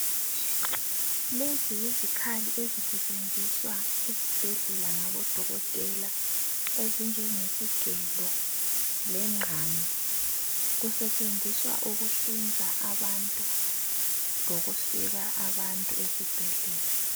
Lezi yizikhali ezisetshenziswa ezibhedlela ngabo dokotela ezibhedlela ezinjenge isigelo lengqamu kusetshenziswa ukuhlinza abantu lokusika abantu ezibhedlela.